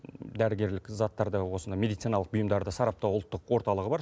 дәрігерлік заттарда осыны медициналық бұйымдарды сараптау ұлттық орталығы бар